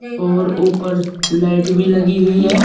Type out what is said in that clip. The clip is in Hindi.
और ऊपर लाइट भी लगी हुई है।